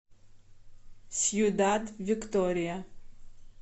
сьюдад виктория